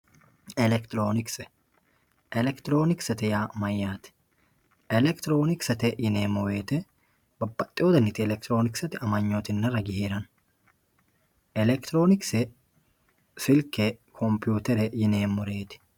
elekitiroonikise elekitiroonikise yaa mayyate elekitiroonikise yineemmo wote babbaxino dani elekitiroonikise amanyooti heerara dandaanno elekitiroonikise silke kompiyuutere yineemmoreeti.